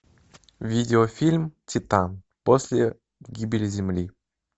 видеофильм титан после гибели земли